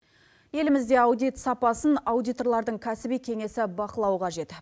елімізде аудит сапасын аудиторлардың кәсіби кеңесі бақылау қажет